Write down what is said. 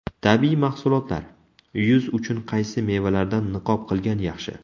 Tabiiy mahsulotlar: yuz uchun qaysi mevalardan niqob qilgan yaxshi?.